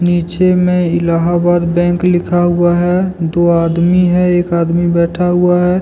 पीछे में इलाहाबाद बैंक लिखा हुआ है दो आदमी हैं एक आदमी बैठा हुआ है।